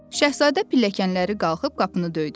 Şahzadə pilləkənləri qalxıb qapını döydü.